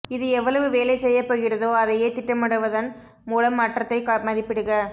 இது எவ்வளவு வேலை செய்யப் போகிறதோ அதையே திட்டமிடுவதன் மூலம் மாற்றத்தை மதிப்பிடுக